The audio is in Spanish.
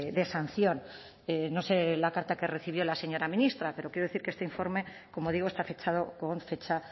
de sanción no sé la carta que recibió la señora ministra pero quiero decir que este informe como digo está fechado con fecha